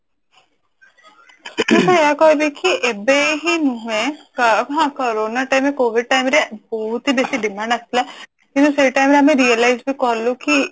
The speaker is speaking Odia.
ମୁଁ ତ ଏଇଆ କହିବି କି ଏବେ ହିଁ ନୁହେଁ କ ହଁ କରୋନ time ରେ କୋଭିଡ time ରେ ବହୁତ ହିଁ ବେଶୀ demand ଆସିଥିଲା କିନ୍ତୁ ସେଇ time ରେ ଆମେ realize କଲୁ କି